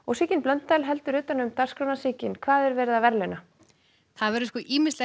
Sigyn Blöndal heldur utan um dagskrána Sigyn hvað er verið að verðlauna það verður ýmislegt